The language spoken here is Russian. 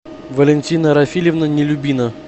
валентина рафилевна нелюбина